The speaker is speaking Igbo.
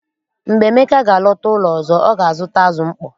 Mgbe Emeka ga-alọta ụlọ ọzọ, ọ ga-azụta azụ mkpọ.